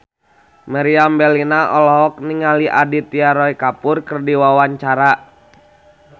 Meriam Bellina olohok ningali Aditya Roy Kapoor keur diwawancara